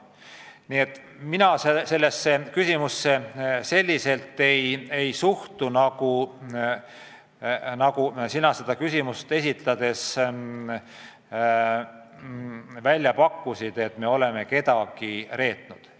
Nii et mina sellesse küsimusse niimoodi ei suhtu, nagu sina seda küsimust esitades välja pakkusid, et me oleme kedagi reetnud.